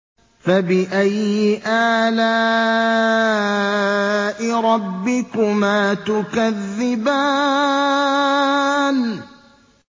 فَبِأَيِّ آلَاءِ رَبِّكُمَا تُكَذِّبَانِ